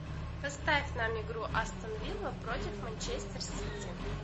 поставь нам игру астон вилла против манчестер сити